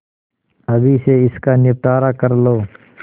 अभी से इसका निपटारा कर लो